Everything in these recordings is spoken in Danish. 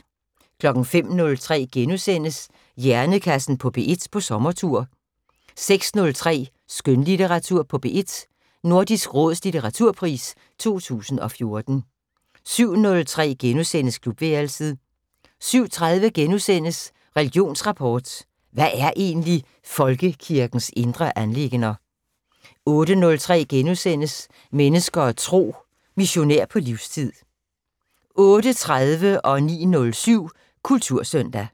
05:03: Hjernekassen på P1 på sommertur * 06:03: Skønlitteratur på P1: Nordisk Råds litteraturpris 2014 07:03: Klubværelset * 07:30: Religionsrapport: Hvad er egentlig folkekirkens indre anliggender? * 08:03: Mennesker og Tro: Missionær på livstid * 08:30: Kultursøndag 09:07: Kultursøndag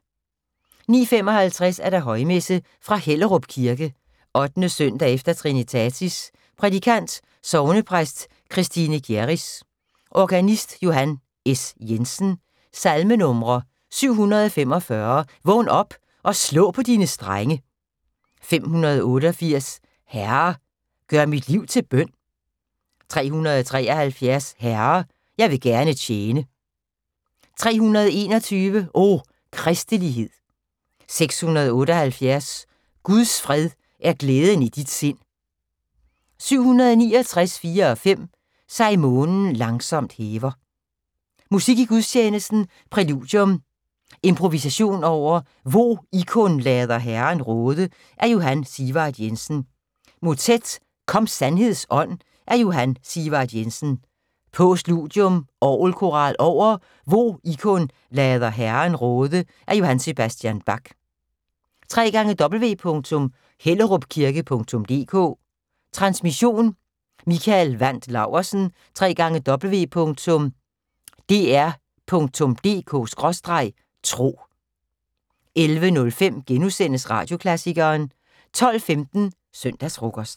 09:55: Højmesse - fra Hellerup Kirke. 8. søndag efter trinitatis. Prædikant: Sognepræst Christine Gjerris. Organist: Johan S. Jensen. Salmenumre: 745: "Vågn op og slå på dine strenge". 588: "Herre, gør mit liv til bøn". 373: "Herre, jeg vil gerne tjene". 321: "O, Kristelighed". 678: "Guds fred er glæden i dit sind". 769, 4-5: "Sig månen langsomt hæver". Musik i gudstjenesten: Præludium: Imporvisation over "Hvo ikkun lader Herren råde" af Johan Sigvard Jensen. Motet: "Kom sandheds Ånd" af Johan Sigvard Jensen. Postludium: Orgelkoral over "Hvo ikkun lader Herren råde"af J.S. Bach. www.hellerupkirke.dk Transmission: Mikael Wandt Laursen. www.dr.dk/tro 11:05: Radioklassikeren * 12:15: Søndagsfrokosten